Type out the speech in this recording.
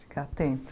Ficar atento.